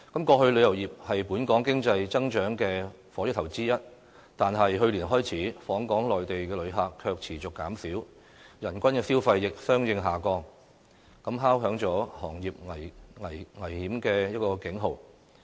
過去旅遊業是本港經濟增長的火車頭之一，但去年開始，訪港的內地旅客卻持續減少，人均消費亦相應下降，敲響了行業危機的警號。